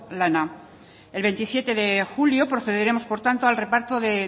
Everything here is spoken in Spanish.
lana el veintisiete de julio procederemos por tanto al reparto de